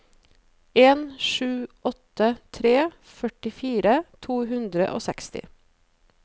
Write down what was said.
en sju åtte tre førtifire to hundre og seksti